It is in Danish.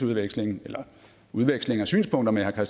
udveksling udveksling af synspunkter med herre